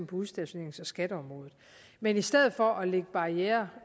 på udstationerings og skatteområdet men i stedet for at lægge barrierer